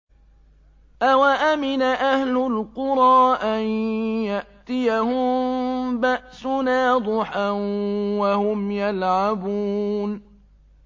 أَوَأَمِنَ أَهْلُ الْقُرَىٰ أَن يَأْتِيَهُم بَأْسُنَا ضُحًى وَهُمْ يَلْعَبُونَ